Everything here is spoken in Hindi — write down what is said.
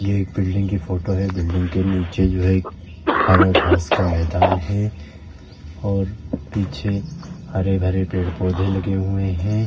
ये एक बिल्डिंग की फोटो है। बिल्डिंग के नीचे जो है हरा घास का मैंदान है और पीछे हरे-भरे पेड़-पौधे लगे हुए हैं।